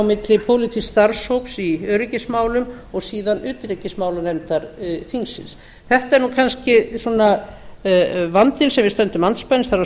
milli pólitísks starfshóps í öryggismálum og síðan utanríkismálanefndar þingsins þetta er kannski vandinn sem við stöndum andspænis það er að